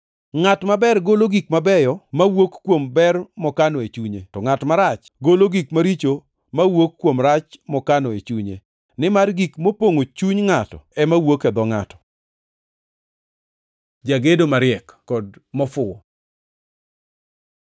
Ngʼat maber golo gik mabeyo mawuok kuom ber mokano e chunye, to ngʼat marach golo gik maricho mawuok kuom rach mokano e chunye. Nimar gik mopongʼo chuny ngʼato ema wuok e dho ngʼato. Jagedo mariek kod mofuwo